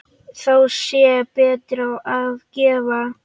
Þá sé betra að gefa.